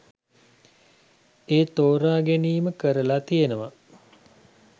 ඒ තෝරා ගැනීම කරලා තියෙනවා.